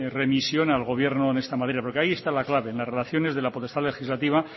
remisión al gobierno en esta materia porque ahí está la clave en las relaciones de la potestad legislativa